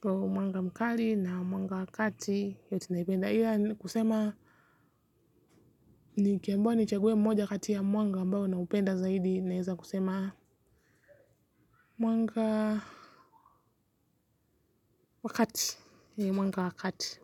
Kwa mwanga mkali na mwanga wa kati yote naipenda ila kusema. Nikiambiwa nichague mmoja kati ya mwanga ambayo naupenda zaidi naeza kusema. Mwanga wa kati yeah mwanga wa kati.